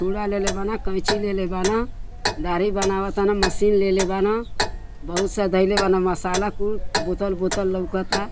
छुड़ा लेले बान कैंची लेले बान। दाढ़ी बनाव तन। मशीन लेले बान। बहुत सा धईले बान मसाला कुल। बोतल बोतल लउकता।